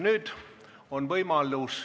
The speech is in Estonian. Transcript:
Nüüd on võimalus ...